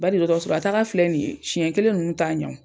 Bari dɔɔtɔrɔso la taga filɛ nin ye siɲɛ kelen ninnu t'a ɲa o.